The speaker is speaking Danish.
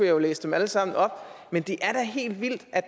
jo læse dem alle sammen op men det er da helt vildt at